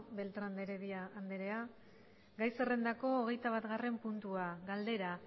beltrán de heredia andrea gai zerrendako hogeita batgarren puntua galdera